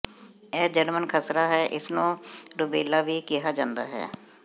ਇਹ ਜਰਮਨ ਖਸਰਾ ਹੈ ਇਸ ਨੂੰ ਰੂਬੈਲਾ ਵੀ ਕਿਹਾ ਜਾਂਦਾ ਹੈ